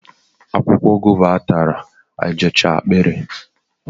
akwụkwọ guava atachara ejechaa akpịrị